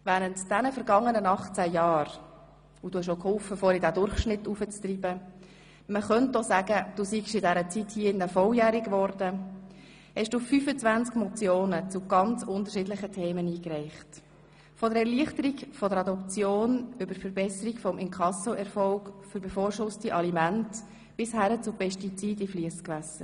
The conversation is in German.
Während der vergangenen 18 Jahre – du hast geholfen, den Durchschnitt nach oben zu treiben und man könnte auch sagen, du seist in diesem Saal volljährig geworden – hast du 25 Motionen zu ganz unterschiedlichen Themen eingereicht: von der Erleichterung der Adoption über die Verbesserung des Inkassoerfolgs für bevorschusste Alimente bis hin zu Pestiziden in Fliessgewässern.